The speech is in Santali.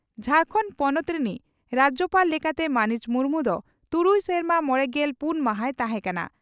ᱡᱷᱟᱨᱠᱟᱸᱱᱰ ᱯᱚᱱᱚᱛ ᱨᱮᱱᱤᱡ ᱨᱟᱡᱭᱚᱯᱟᱲ ᱞᱮᱠᱟᱛᱮ ᱢᱟᱹᱱᱤᱡ ᱢᱩᱨᱢᱩ ᱫᱚ ᱛᱩᱨᱩᱭ ᱥᱮᱨᱢᱟ ᱢᱚᱲᱮᱜᱮᱞ ᱯᱩᱱ ᱢᱟᱦᱟᱭ ᱛᱟᱦᱮᱸ ᱠᱟᱱᱟ ᱾